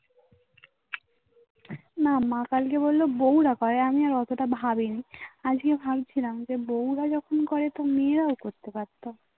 না মা কালকে বললো বউরা পারে আমি আর অতটা ভাবিনি আজকেও ভাবছিলাম যে বউরা যখন করে সব মেয়েরাও আসতে পারে